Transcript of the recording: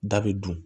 Da bɛ dun